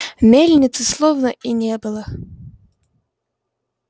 мельницы словно и не было